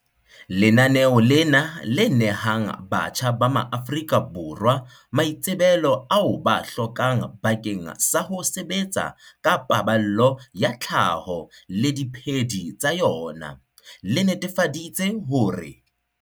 Lenaneo lena, le nehang batjha ba maAforika Borwa maitsebelo ao ba a hlokang bakeng sa ho sebetsa ka paballo ya tlhaho le diphedi tsa yona, le netefaditse hore